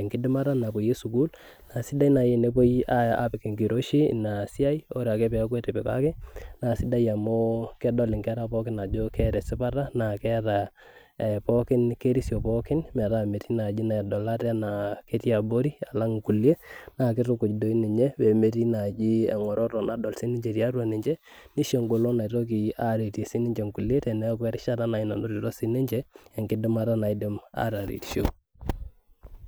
enkidimata napoye sukuul naa isidai nai enepoi aapik enkiroshi ina siai ore ake peeku etipikaki naa isidai amuu kedol inkera pookin ajo keeta esipata naa keeta pookin kerisio pookin metaa metii nai naadol ate ajo ketii abori alang' inkuliek naa kitukuj doi ninye pemetii naaji eng'oroto nadol sinche tatua ninche nisho engolon naitoki aaretie sininche inkuliek teneeku erishata nai nanotito sinche enkidimata naidim ataretisho.